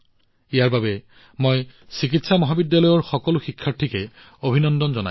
ইয়াৰ বাবে মই চিকিৎসা মহাবিদ্যালয়ৰ সকলো শিক্ষাৰ্থীক অভিনন্দন জনাইছো